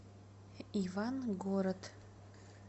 ивангород